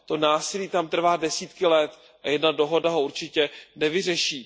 To násilí tam trvá desítky let a jedna dohoda ho určitě nevyřeší.